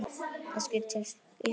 Kannski til Íslands aftur?